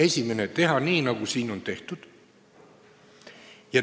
Esiteks: teha nii, nagu siin on tehtud.